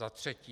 Za třetí.